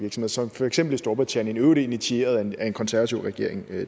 som for eksempel i storbritannien i øvrigt initieret af en konservativ regering